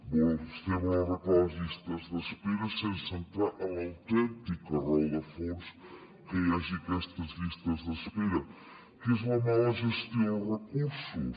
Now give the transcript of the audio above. vostè vol arreglar les llistes d’espera sense entrar en l’autèntica raó de fons que hi hagi aquestes llistes d’espera que és la mala gestió dels recursos